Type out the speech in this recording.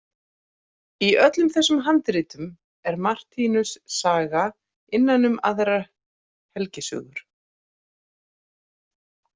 Í öllum þessum handritum er Martinus saga innan um aðrar helgisögur.